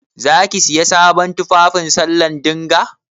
Za ki Siya sabon tufafi sallah dinga?